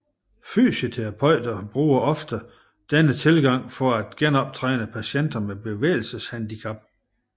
Fysioterapeuter bruger ofte denne tilgang for at genoptræne patienter med bevægelseshandicap